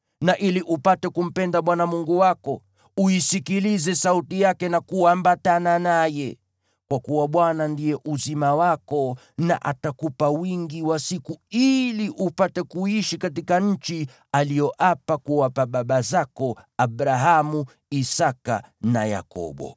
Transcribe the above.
na ili upate kumpenda Bwana Mungu wako, uisikilize sauti yake na kuambatana naye. Kwa kuwa Bwana ndiye uzima wako, na atakupa wingi wa siku ili upate kuishi katika nchi aliyoapa kuwapa baba zako Abrahamu, Isaki na Yakobo.